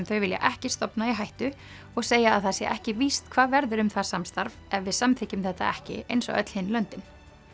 þau vilja ekki stofna í hættu og segja að það sé ekki víst hvað verður um það samstarf ef við samþykkjum þetta ekki eins og öll hin löndin